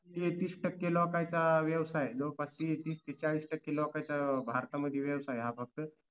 तेहतीस टक्के लोकांचा व्यवसाय लोकवस्ती तीस ते चाळीस टक्के लोकाचा भारतामध्ये व्यवसाय हा फक्त